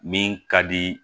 Min ka di